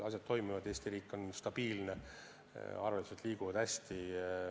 Asjad toimivad, Eesti riik on stabiilne, arveldused liiguvad hästi.